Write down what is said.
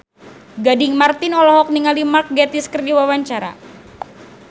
Gading Marten olohok ningali Mark Gatiss keur diwawancara